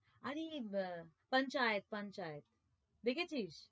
আরে আহ পঞ্চায়েত পঞ্চায়েত দেখেছিস?